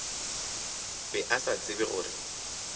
be a sa tsebe gore